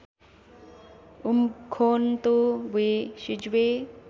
Umkhonto we Sizwe